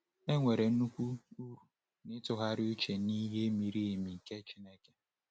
Enwere nnukwu uru n’ịtụgharị uche n’ihe miri emi nke Chineke.